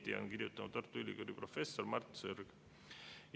Nii on kirjutanud Tartu Ülikooli professor Mart Sõrg.